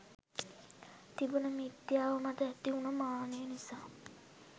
තිබුන මිත්‍යාව මත ඇතිවුන මානය නිසා.